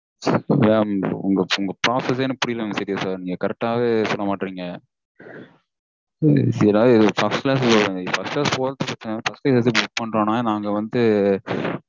Mam உங்க process -ஏ எனக்கு புரியல serious -ஆ. நீங்க correct -ஆவே சொல்ல மாட்டேங்க்றீங்க. first class first class போறது பிரச்சினை இல்ல. first class எதுக்கு book பண்றோம்னா நாங்க வந்து